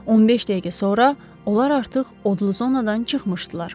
15 dəqiqə sonra onlar artıq odlu zonadan çıxmışdılar.